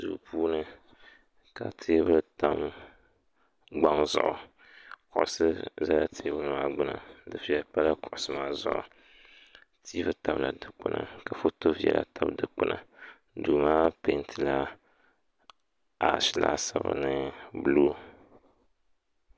Duu puuni ka teebuli tam nyɔŋ zuɣu kuɣusi za teebuli maa gbuni ka tiivi tabila dukpuni ka foto viɛla tabi dukpuna duu maa piɛntila ashi laasabu ni buluu